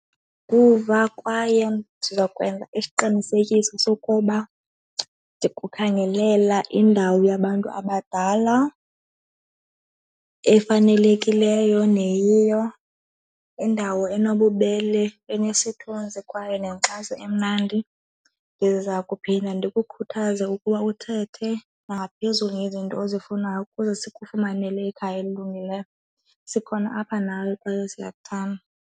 kwaye ndizokwenza isiqinisekiso sokuba ndingakukhangelela indawo yabantu abadala efanelekileyo neyiyo. Indawo enobubele, enesithunzi kwaye nenkxaso emnandi. Ndiza kuphinda ndikukhuthaza ukuba uthethe nangaphezuli ngezinto ozifunayo ukuze sikufumanele ikhaya elilungileyo. Sikhona apha nawe kwaye siyakuthanda.